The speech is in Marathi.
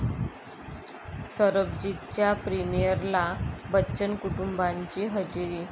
सरबजीत'च्या प्रिमिअरला बच्चन कुटुंबाची हजेरी